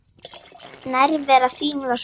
Nærvera þín var svo góð.